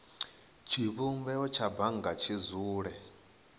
tshivhumbeo tsha bannga tshi dzule